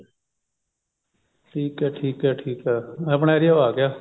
ਠੀਕ ਹੈ ਠੀਕ ਹੈ ਠੀਕ ਹੈ ਆਪਣਾ area ਓ ਆਗਿਆ